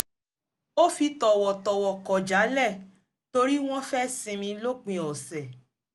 ó fi tọ̀wọ̀tọ̀wọ̀ kọ̀ jálẹ̀ torí wọ́n fẹ́ sinmi lòpin ọ̀sẹ̀